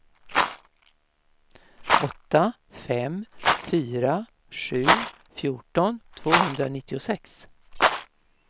åtta fem fyra sju fjorton tvåhundranittiosex